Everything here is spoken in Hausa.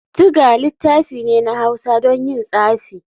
Thger littafi ne na hausa don yin tsafi.